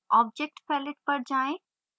object palette पर जाएँ